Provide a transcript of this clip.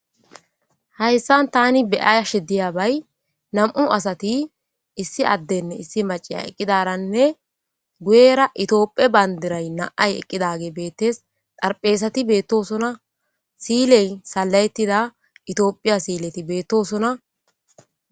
Hayssan tani be'ashe de'ayabbay nam'u asati issi Mac'anne issi ade eqidaysinneguyera toophphiya banddira nam'ay eqidagey beetes xarphezati betosona si'iley sala'etida toophphiya si'iley betosona.